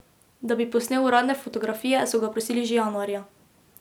Da bi posnel uradne fotografije, so ga prosili že januarja.